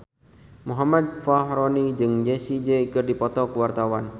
Muhammad Fachroni jeung Jessie J keur dipoto ku wartawan